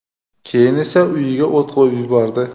keyin esa uyiga o‘t qo‘yib yubordi.